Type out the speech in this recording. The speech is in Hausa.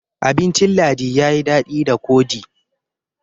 abincin ladi ya yi dadi da kodi